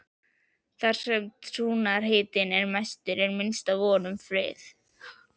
Þar sem trúarhitinn er mestur er minnst von um frið.